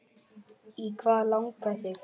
Í hvað langar þig?